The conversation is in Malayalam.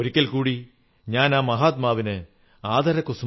in giving you receive happiness Almighty will bless all your actions